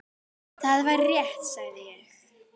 Það væri rétt, sagði ég.